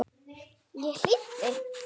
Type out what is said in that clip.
Ég hlýddi.